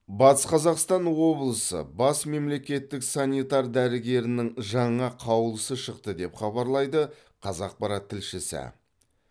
батыс қазақстан облысы бас мемлекеттік санитар дәрігерінің жаңа қаулысы шықты деп хабарлайды қазақпарат тілшісі